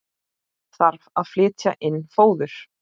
Þarf að flytja inn fóður?